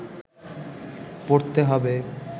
পড়তে হবে